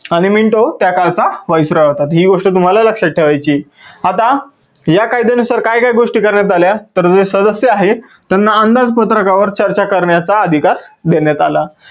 आणि Minto त्या कालचा viceroy होता. ही गोष्ट तुम्हाला लक्षात ठेवायची आहे. आता, या कायद्यानुसार काय काय गोष्टी करण्यात आल्या तर जे सदस्य आहेत त्यांना अंदाज पत्रकावर चर्चा करण्याचा अधिकार देण्यात आला.